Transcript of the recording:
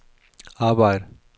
arbejd